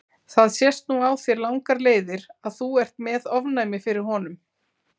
Það sést nú á þér langar leiðir að þú ert með ofnæmi fyrir honum.